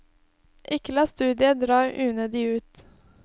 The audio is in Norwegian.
Ikke la studiet dra unødig ut.